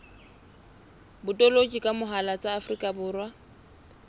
botoloki ka mohala tsa afrika